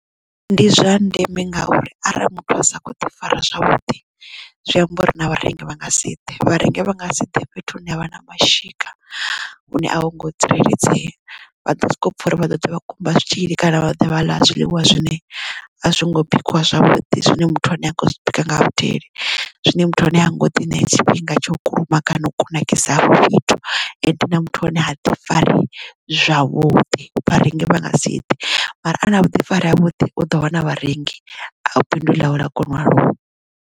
Ndi zwa ndeme ngauri arali muthu a sa kho ḓi fara zwavhuḓi zwi amba uri na vharengi vha nga si ḓe vharengi vha nga si ḓe fhethu hune havha na mashika hune a vho ngo tsireledzea. Vha ḓo soko pfha uri vha ḓoḓa vha kumba zwitzhili kana vha ḓa vha ḽa zwiḽiwa zwine a zwongo bikiwa zwavhuḓi zwine muthu ane a kho zwibika nga vhudele zwine muthu wa hone ha ngoḓi ṋea tshifhinga tsha u kulumaga kana u kunakisa hafho fhethu ende na muthu ane ha ḓi fari zwavhuḓi vharengi vha nga si ḓe mara ane avha na vhuḓifari ha vhuḓi u ḓo wana vharengi na bindu ḽa u ḽa kona u aluwa.